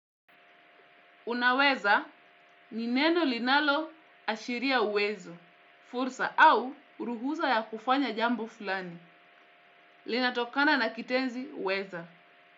Unaweza, ni neno linalo ashiria uwezo, fursa au ruhusa ya kufanya jambo fulani, linatokana na kitenzi weza.